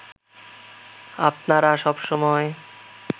আপনারা সব সময়